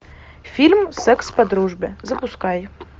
фильм секс по дружбе запускай